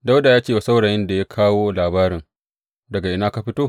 Dawuda ya ce wa saurayin da ya kawo labarin, Daga ina ka fito?